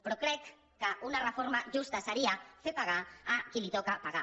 però crec que una reforma justa seria fer pagar a qui li toca pagar